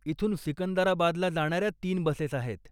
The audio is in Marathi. इथून सिकंदराबादला जाणाऱ्या तीन बसेस आहेत.